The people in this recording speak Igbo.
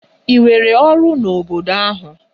Ị nwere ọrụ n'obodo ahụ?